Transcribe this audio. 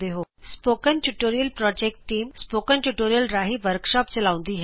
spoken tutorial project team spoken tutorial ਰਾਹੀ workshops ਚਲਾਉਂਦੀ ਹੈ